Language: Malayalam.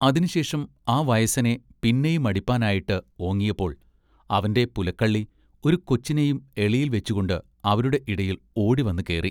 അതിന് ശേഷം ആ വയസ്സനെ പിന്നെയുമടിപ്പാനായിട്ട് ഓങ്ങിയപ്പോൾ അവന്റെ പുലക്കള്ളി ഒരു കൊച്ചിനെയും എളിയിൽ വെച്ചുംകൊണ്ട് അവരുടെ ഇടയിൽ ഓടിവന്നു കേറി.